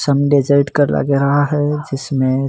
सम desert का लग रहा है जिसमें--